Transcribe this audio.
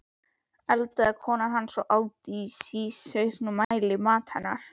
eldaði kona hans, og át í síauknum mæli, mat hennar.